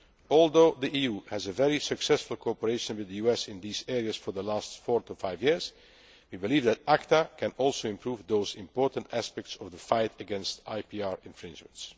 assistance. Although the EU has had very successful cooperation with the US in these areas for the last four to five years, we believe that ACTA can also improve those important aspects of the fight against IPR infringements.